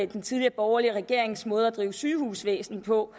den tidligere borgerlige regerings måde at drive sygehusvæsen på